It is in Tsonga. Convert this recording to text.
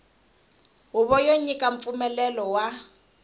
huvo yo nyika mpfumelelo wa